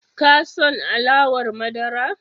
Ka son alawar madara?